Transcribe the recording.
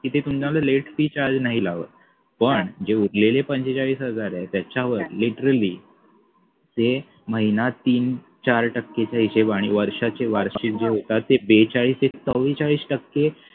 की ते तुमच्या कडे late fee charge नाही लावत पण जे उरलेले पंचेचाळीस हजार आहेत त्याच्यावर literally ते महिना तीन चार टक्केचा हिशोब आणि वर्षाचे वार्षिक जे होतात ते बेचाळीस ते चौरेचाळीस टक्के